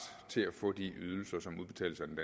til at få de ydelser som udbetales af den